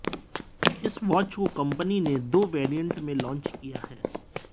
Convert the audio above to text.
इस वॉच को कंपनी ने दो वेरिएंट में लॉन्च किया है